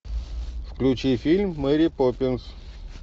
включи фильм мэри поппинс